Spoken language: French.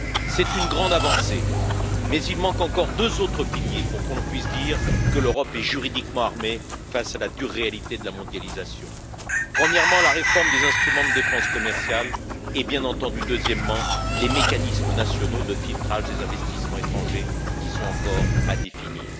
C'est une grande avancée, mais il manque encore deux autres piliers pour qu'on puisse dire que l'Europe est juridiquement armée face à la dure réalité de la mondialisation premièrement, la réforme des instruments de défense commerciale et, bien entendu, deuxièmement, les mécanismes nationaux de filtrage des investissements étrangers qui sont encore à définir.